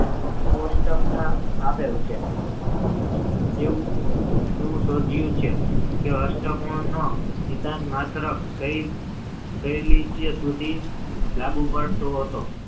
કોષ્ટકમાં આપેલ છે એવું એવું શોધ્યું છે તે અષ્ટકવર્ણો ઇથાઇન માત્ર ટેલિત્ય સુધી લાગુ પડતો હતો